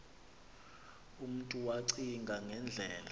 umntu wacinga ngendlela